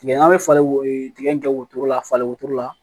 Tigɛ ɲaga bɛ falen tigɛ wotoro la falen wotoro la